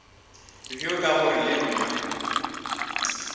bjo ka gore le nna